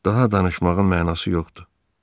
Daha danışmağın mənası yoxdur.